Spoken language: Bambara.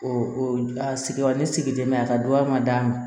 O a sigiyɔrɔ ne sigilen bɛ mɛ a ka dɔgɔya ma da ma